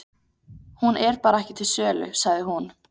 Hún er bara ekki til sölu, sagði hún.